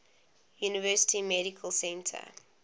university medical center